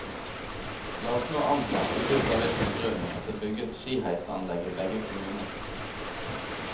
La oss nå anta, uvisst av hvilken grunn, at det bygges skiheisanlegg i begge kommuner.